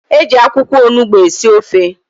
E ji akwụkwọ onugbu esi ofe.